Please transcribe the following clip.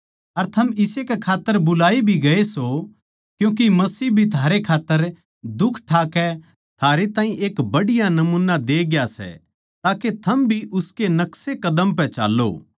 अर थम इस्से कै खात्तर बुलाए भी गये सो क्यूँके मसीह भी थारै खात्तर दुख ठाकै थारै ताहीं एक बढ़िया नमूना दे ग्या सै ताके थम भी उसके नक्सेकदम पै चाल्लों